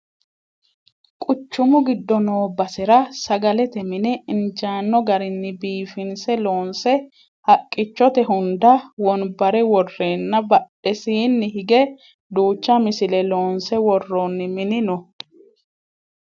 quchumu giddo noo basera sagalete mine injaanno garinni biifinse loonse haqqichote hunda wonbare worreenna badhesiinni hige duucha misile loonse worroonni mini no